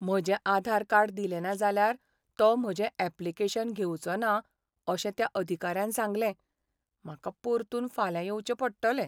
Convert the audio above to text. म्हजें आधार कार्ड दिलेंना जाल्यार तो म्हजें ऍप्लिकेशन घेवचो ना अशें त्या अधिकाऱ्यान सांगलें. म्हाका परतून फाल्यां येवचें पडटलें.